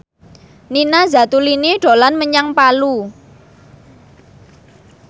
Nina Zatulini dolan menyang Palu